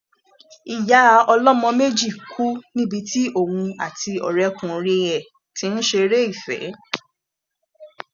ìyá ọlọmọ méjì kú níbi tí òun àti ọrẹkùnrin ẹ ti ń ṣeré ìfẹ